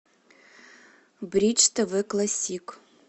бридж тв классик